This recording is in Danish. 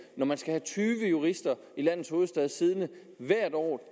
når man skal have tyve jurister i landets hovedstad siddende hvert år